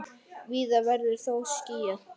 Víða verður þó skýjað.